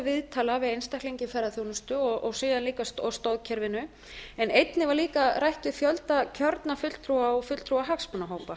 við einstaklinga í ferðaþjónustu og síðan líka stoðkerfinu en einnig var líka rætt við fjölda kjörinna fulltrúa og fulltrúa hagsmunahópa